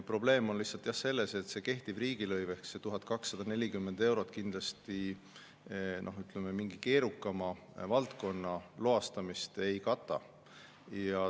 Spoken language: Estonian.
Probleem on lihtsalt selles, et kehtiv riigilõiv ehk see 1240 eurot kindlasti, ütleme, mingi keerukama valdkonna loastamist ei kata.